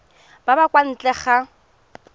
ba ba kwa ntle ga